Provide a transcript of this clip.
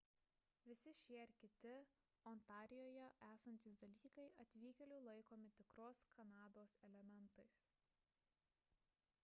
visi šie ir kiti ontarijuje esantys dalykai atvykėlių laikomi tikros kanados elementais